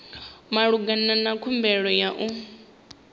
malugana na khumbelo ya u